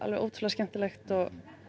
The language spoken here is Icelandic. ótrúlega skemmtilegt og